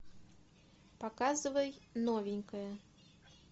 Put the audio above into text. показывай новенькая